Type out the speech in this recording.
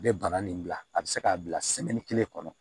A bɛ bana nin bila a bɛ se k'a bila kelen kɔnɔ